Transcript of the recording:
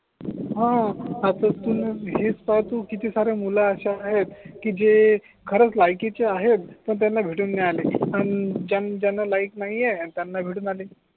हा आता तू णा हेच पाय तु किती सारे मूल असया आहेत की जे खरच लायकीचे आहे पण त्यांना भेटू नाही राहिले आणि ज्यांना लाइक नाही आहे त्यांना भेटू राहिले